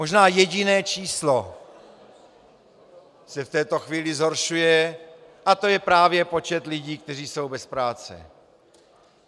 Možná jediné číslo se v této chvíli zhoršuje a to je právě počet lidí, kteří jsou bez práce.